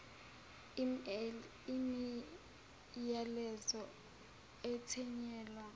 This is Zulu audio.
email imiyalezo ethunyelwa